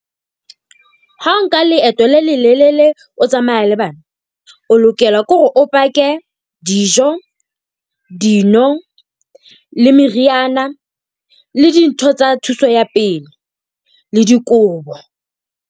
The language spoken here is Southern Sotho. Ha o nka leeto le lelelele, o tsamaya le bana. O lokela ke hore o pake dijo, dino le meriana le dintho tsa thuso ya pele le dikobo.